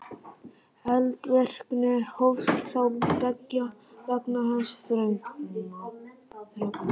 Eldvirkni hófst þá beggja vegna þess þrönga